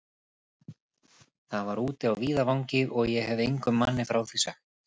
Það var úti á víðavangi, og ég hefi engum manni frá því sagt.